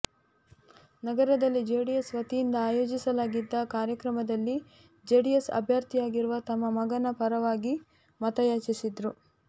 ನಗರದಲ್ಲಿ ಜೆಡಿಎಸ್ ವತಿಯಿಂದ ಆಯೋಜಿಸಲಾಗಿದ್ದ ಕಾರ್ಯಕ್ರಮದಲ್ಲಿ ಜೆಡಿಎಸ್ ಅಭ್ಯರ್ಥಿಯಾಗಿರುವ ತಮ್ಮ ಮಗನ ಪರವಾಗಿ ಮತ ಯಾಚಿಸಿದರು